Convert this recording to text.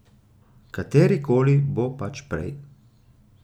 Kateri koli bo pač prej.